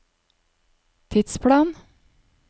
tidsplanen